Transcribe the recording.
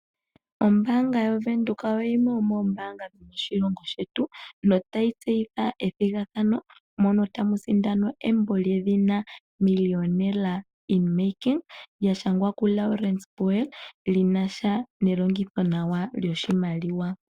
Ombaanga ya Venduka oyo yimwe yomoombanga dho moshilongo shetu notayi tseyitha ethigathano, mono tamu sindanwa embo lyedhina 'Millionaire in making', lya shangwa ku Laurens Boel linasha nelongitho nawa lyoshimaliwa.